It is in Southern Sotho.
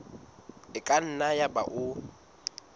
e ka nna yaba o